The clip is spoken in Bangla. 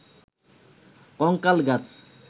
কঙ্কাল গাছ